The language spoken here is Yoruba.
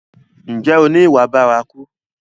Ǹjẹ́ o ni ìwà bárakú?